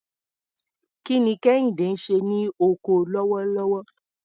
Kí ni Kehinde ń ṣe ní oko lọ́wọ́lọ́wọ́?